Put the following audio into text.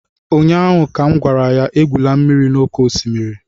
ụnyaahụ ka m gwara ya, egwula mmiri n'oké osimiri!